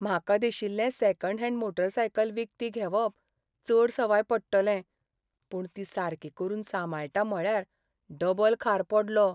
म्हाका दिशिल्लें second hand motorcycle विकती घेवप चड सवाय पडटलें. पूण ती सारकी करून सांबाळटा म्हणल्यार डबल खार पडलो.